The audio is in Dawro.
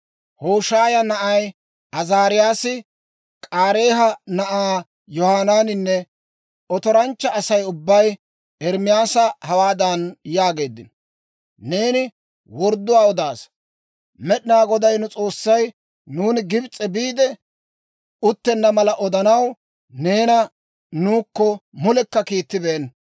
Hoshaaya na'ay Azaariyaasi, K'aareeha na'aa Yohanaaninne otoranchcha Asay ubbay Ermaasa hawaadan yaageeddino; «Neeni wordduwaa odaasa! Med'inaa Goday nu S'oossay nuuni Gibs'e biide uttenna mala odanaw, neena nuukko mule kiittibeenna.